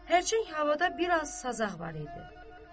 Hərçənd havada bir az sazaq var idi.